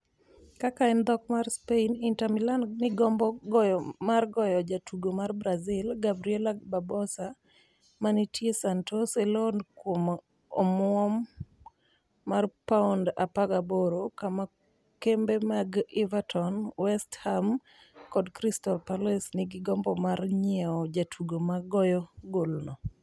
(Kaka en dhok mar Spain) Inter Milan ni gombo mar goyo jatugo ma Brazil, Gabriel Barbosa, manitie Santos e loan kuom omwom mar pound 18, kama kembe mag Everton, West Ham kod Crystal Palace nigi gombo mar nyiewo jatugo ma goyo golno.